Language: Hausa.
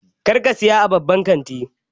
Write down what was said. Kar ka saya a babban kantin!